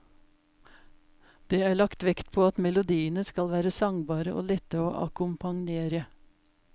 Det er lagt vekt på at melodiene skal være sangbare og lette å akkompagnere.